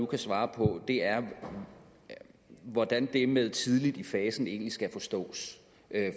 kan svare på det er hvordan det med tidligt i fasen egentlig skal forstås